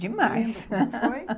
Demais.